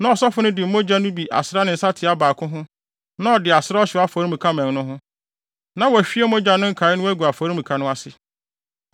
Na ɔsɔfo no de mogya no bi asra ne nsateaa baako ho na ɔde asra ɔhyew afɔremuka mmɛn no ho. Na wahwie mogya no nkae no agu afɔremuka no ase.